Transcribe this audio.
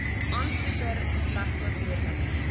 aansoeker slegs natuurlike